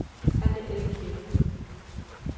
Hanne Elkjær